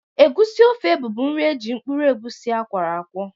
Egusi ofe bụbu nri eji mkpụrụ egusi akworo akwo.